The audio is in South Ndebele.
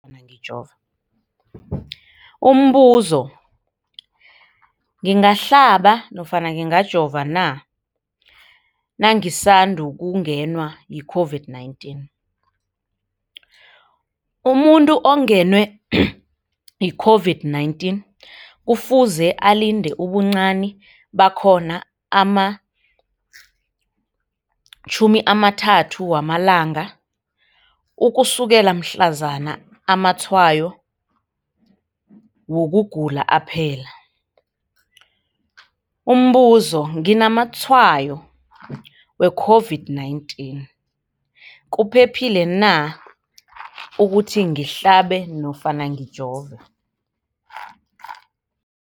Umbuzo, ngingahlaba nofana ngingajova na nangisandu kungenwa yi-COVID-19? Umuntu ongenwe yi-COVID-19 kufuze alinde ubuncani bakhona ama-30 wama langa ukusukela mhlazana amatshayo wokugula aphela. Umbuzo, nginamatshayo we-COVID-19, kuphephile na ukuthi ngihlabe nofana ngijove?